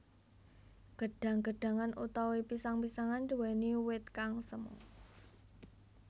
Gedhang gedhangan utawa pisang pisangan nduwèni wit kang semu